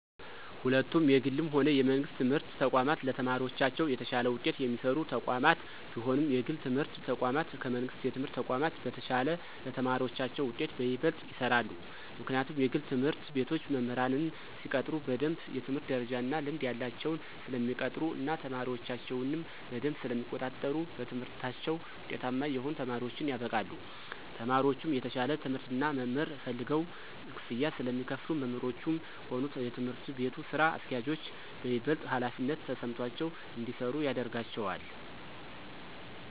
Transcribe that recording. ሁለቱም የግልም ሆነ የመንግስት የትምህርት ተቋማት ለተማሪዎቻቸው የተሻለ ውጤት የሚሰሩ ተቋማት ቢሆኑም የግል የትምህርት ተቋማት ከመንግሥት የትምህርት ተቋም በተሻለ ለተማሪዎቻቸው ውጤት በይበልጥ ይሰራሉ። ምክንያቱም የግል ትምህርት ቤቶች መምህራንን ሲቀጥሩ በደምብ የትምህርት ደረጃ እና ልምድ ያላቸውን ስለሚቀጥሩ እና ተማሪዎቻቸውንም በደምብ ስለሚቆጣጠሩ በትምህርታቸው ውጤታማ የሆኑ ተማሪዎችን ያበቃሉ። ተማሪዎቹም የተሻለ ትምህርት እና መምህር ፈልገው ክፍያ ስለሚከፍሉ መምህሮቹም ሆኑ የትምህርት ቤቱ ስራ አስኪያጆች በይበልጥ ሀላፊነት ተሰምቷቸው እንዲሰሩ ያደርጋቸዋል።